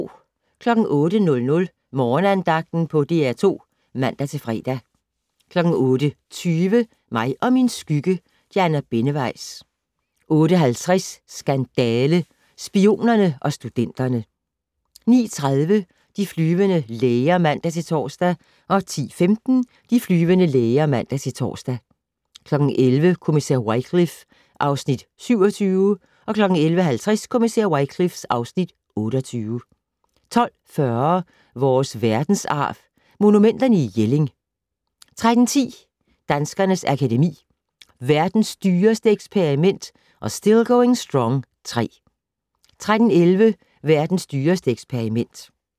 08:00: Morgenandagten på DR2 (man-fre) 08:20: Mig og min skygge: Diana Benneweis 08:50: Skandale - Spionerne og studenterne 09:30: De flyvende læger (man-tor) 10:15: De flyvende læger (man-tor) 11:00: Kommissær Wycliffe (Afs. 27) 11:50: Kommissær Wycliffe (Afs. 28) 12:40: Vores Verdensarv: Monumenterne i Jelling 13:10: Danskernes Akademi: Verdens dyreste eksperiment & Still Going Strong III 13:11: Verdens dyreste eksperiment